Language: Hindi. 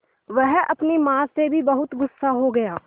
वह अपनी माँ से भी बहुत गु़स्सा हो गया